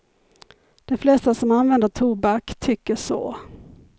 De flesta som använder tobak tycker så.